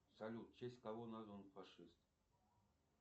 салют в честь кого назван фашист